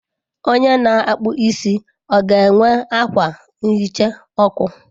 Onye na-akpụ isi ọ ga-enwe akwa nhicha ọkụ?